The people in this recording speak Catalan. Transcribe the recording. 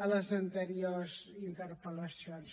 en les anteriors interpel·lacions